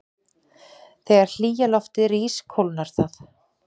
Þegar hlýja loftið rís kólnar það.